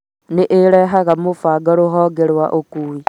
nĩĩrehaga mũbango rũhonge rwa ũkuui